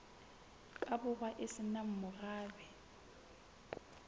borwa e se nang morabe